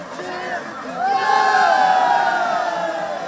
Qarabağ!